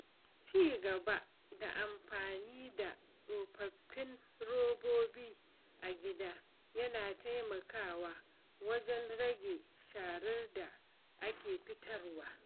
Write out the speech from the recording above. cigaba da amfani da tsofaffin robobi a gida yana taimakawa wajen rage sharar da ake fitarwa.